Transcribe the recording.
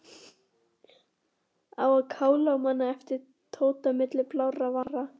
Á að kála manni æpti Tóti milli blárra vara.